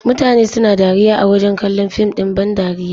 Mutane suna dariya a wajen kallon fim ɗin ban dariya.